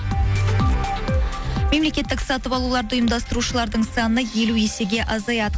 мемлекеттік сатып алуларды ұйымдастырушылардың саны елу есеге азаяды